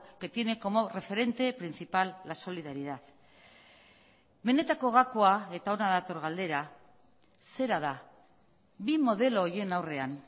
que tiene como referente principal la solidaridad benetako gakoa eta hona dator galdera zera da bi modelo horien aurrean